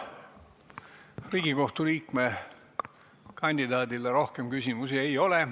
Riigikohtu liikme kandidaadile rohkem küsimusi ei ole.